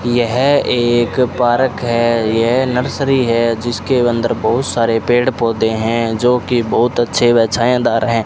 यह एक पार्क है यह नर्सरी है जिसके अंदर बहुत सारे पेड़ पौधे हैं जो कि बहुत अच्छे व छायादार हैं।